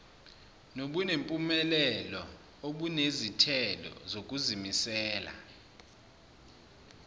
nobunempumelelo obunezithelo zokuzimisela